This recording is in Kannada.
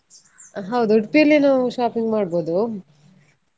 ಹೌದು Udupi ಯಲ್ಲೇ ನಾವು shopping ಮಾಡ್ಬೋದು,